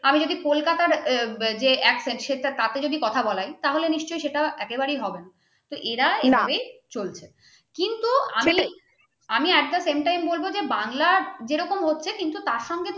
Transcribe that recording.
আমি যদি কলকাতার ও যে action সে তার যদি কথা বলায় তাহলে নিশ্চয়ই সেটা একেবারে হবে না তো এরা চলছে কিন্তু আমি একটা same time বলবো যে বাংলা যেরকম হচ্ছে তার সঙ্গে